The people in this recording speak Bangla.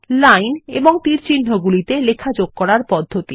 লাইন এবং তীরচিহ্নগুলি তে লেখা যোগ করার পদ্ধতি